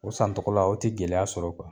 O san tɔgɔla o te gɛlɛya sɔrɔ .